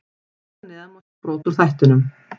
Hér að neðan má sjá brot úr þættinum.